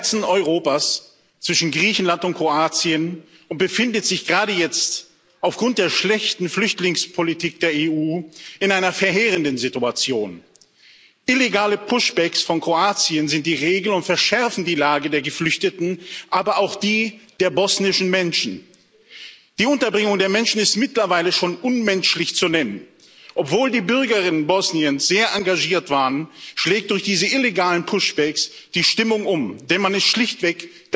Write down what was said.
Herr Präsident! Bosnien und Herzegowina liegt im Herzen Europas zwischen Griechenland und Kroatien und befindet sich gerade jetzt aufgrund der schlechten Flüchtlingspolitik der EU in einer verheerenden Situation. Illegale Push backs von Kroatien sind die Regel und verschärfen die Lage der Geflüchteten, aber auch die der bosnischen Menschen. Die Unterbringung der Menschen ist mittlerweile schon unmenschlich zu nennen. Obwohl die Bürgerinnen und Bürger Bosniens sehr engagiert waren, schlägt durch diese illegalen Push backs die Stimmung um, denn man ist damit schlichtweg